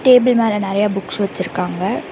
Table மேல நெறைய books வெச்சிருக்காங்க.